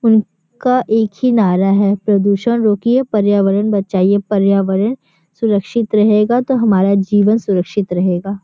उनका एक ही नारा है प्रदूषण रोकिए पर्यावरण बचाईए पर्यावरण सुरक्षित रहेगा तो हमारा जीवन सुरक्षित रहेगा।